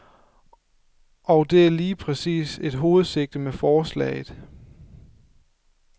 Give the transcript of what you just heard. Og det er lige præcis et hovedsigte med forslaget.